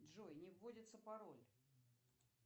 джой не вводится пароль